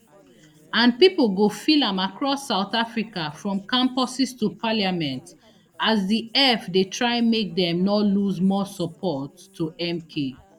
and pipo go feel am across south africa from campuses to parliament as di eff dey try make dem no lose more support to mk